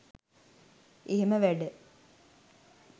එහෙම වැඩ